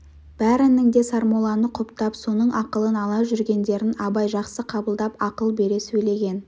бәрінің де сармолланы құптап соның ақылын ала жүргендерін абай жақсы қабылдап ақыл бере сөйлеген